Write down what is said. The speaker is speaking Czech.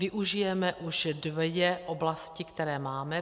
Využijeme už dvě oblasti, které máme.